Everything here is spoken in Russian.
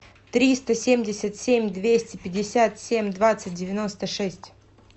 триста семьдесят семь двести пятьдесят семь двадцать девяносто шесть